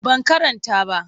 Ban karanta ba.